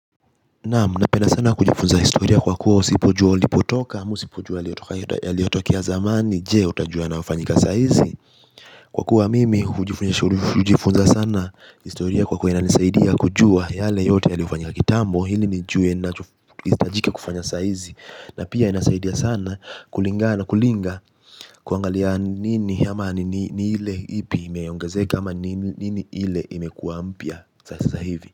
Naam napenda sana kujifunza historia kwa kuwa usipojua ulipotoka, amsipojua yaliotokia zamani, jee utajua yanayofanyika saizi Kwa kuwa mimi hujifunza sana historia kwa kuwa ina nisaidia kujua yale yote yale ufanyika kitambo, hili nijue nachohitajika kufanya saizi na pia inasaidia sana kulingana kulinga kuangalia nini yama ni ile ipi imeongazeka ama nini ile imekua mpya sasa hivi.